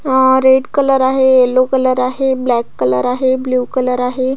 अह red colour आहे yellow colour आहे ब्लॅक आहे ब्ल्यु कलर आहे.